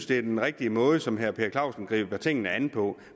det er den rigtige måde som herre per clausen griber tingene an på